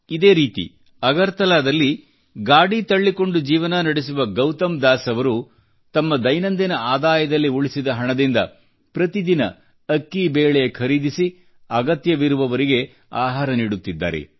ಇದೇ ರೀತಿ ಅಗರ್ತಲಾದಲ್ಲಿ ಗಾಡಿ ತಳ್ಳಿಕೊಂಡು ಜೀವನ ನಡೆಸುವ ಗೌತಮ್ ದಾಸ್ ಅವರು ತಮ್ಮ ದೈನಂದಿನ ಆದಾಯದಲ್ಲಿ ಉಳಿಸಿದ ಹಣದಿಂದ ಪ್ರತಿ ದಿನ ಅಕ್ಕಿಬೇಳೆ ಖರೀದಿಸಿ ಅಗತ್ಯವಿರುವವರಿಗೆ ಆಹಾರ ನೀಡುತ್ತಿದ್ದಾರೆ